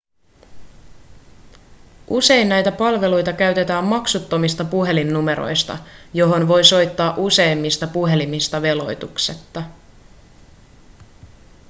usein näitä palveluita käytetään maksuttomista puhelinnumeroista johon voi soittaa useimmista ‎puhelimista veloituksetta.‎